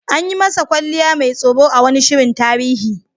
An yi masa kwalliya mai tsoro a wani shirin tarihi.